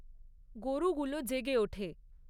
গরুগুলো জেগে ওঠে।